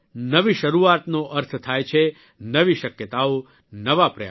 નવી શરૂઆતનો અર્થ થાય છે નવી શક્યતાઓ નવા પ્રયાસ